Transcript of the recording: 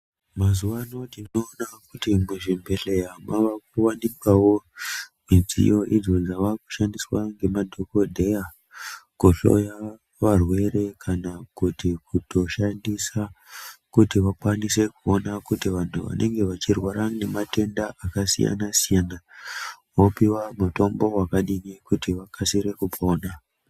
Mazuva ano tinoona kuti muzvibhedhleya makuvanikwavo midziyo idzo dzavakushandiswa nemadhogodheya kuhloya varwere. Kana kuti kuto shandisa kuti vakwanise kuona kuti vantu vanenge vachirwara nematenda akasiyana-siyana, vopiva mutombo vakadini kuti vakasire kupona.